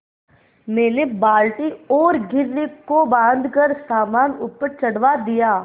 मैंने बाल्टी और घिर्री को बाँधकर सामान ऊपर चढ़वा दिया